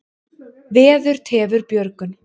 Veður tefur björgun.